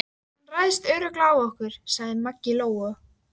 Hún ræðst örugglega á okkur, sagði Maggi Lóu.